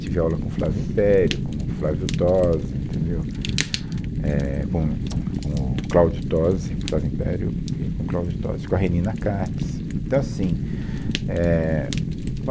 Tive aula com o Flávio Império, com o Flávio Tozzi, entendeu, é, com, tsc, com o Cláudio Tozzi, Flávio Império, e com o Cláudio Tozzi, com a Renina Katz. Então assim, é, bom